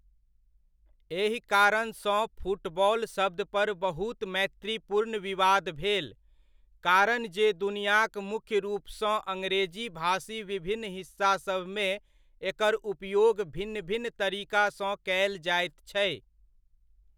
एहि कारणसँ फुटबॉल शब्द पर बहुत मैत्रीपूर्ण विवाद भेल, कारण जे दुनियाक मुख्य रूपसँ अङ्ग्रेजी भाषी विभिन्न हिस्सासभमे एकर उपयोग भिन्न भिन्न तरीकासँ कयल जाइत छै।